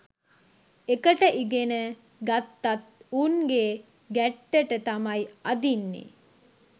එකට ඉගෙන ගත්තත් උන්ගේ ගැට්ටට තමයි අදින්නෙ